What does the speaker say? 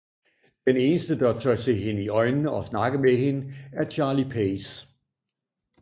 Den eneste der tør se hende i øjnene og snakke med hende er Charlie Pace